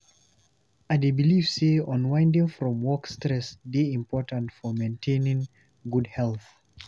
I dey believe say unwinding from work stress dey important for maintaining good health.